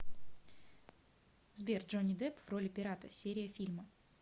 сбер джонни депп в роли пирата серия фильма